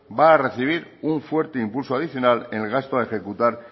va a recibir un fuerte impulso adicional en el gasto a ejecutar